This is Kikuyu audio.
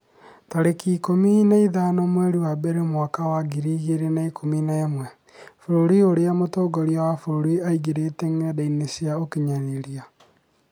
tarĩki ikũmi na ithano mweri wa mbere mwaka wa ngiri igĩrĩ na ikũmi na ĩmwe Bũrũri ũrĩa mũtongoria wa bũrũri aagirĩtie ngenda cia ũkinyanĩria